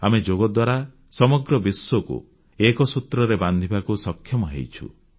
ଆମେ ଯୋଗ ଦ୍ୱାରା ସମଗ୍ର ବିଶ୍ୱକୁ ଏକ ସୂତ୍ରରେ ବାନ୍ଧିବାକୁ ସକ୍ଷମ ହୋଇଛୁ